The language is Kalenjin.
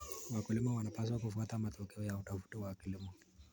Wakulima wanapaswa kufuata matokeo ya utafiti wa kilimo.